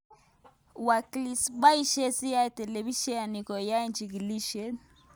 Wikileaks: boishe CIA telebisyenit koyai chikilisyet